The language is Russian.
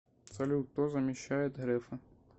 салют кто замещает грефа